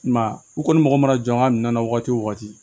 I m'a ye u kɔni mago mana jɔ an ka minɛn na wagati wo wagati